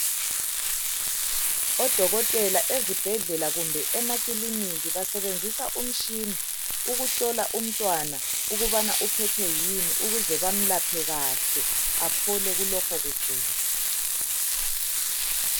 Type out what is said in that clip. Odokotela ezibhedlela kumbe emakilinika basebenzisa umtshina ukuhlola umntwana ukubana uphethwe yini ukuze bamlaphe kahle aphole kulokho kugula.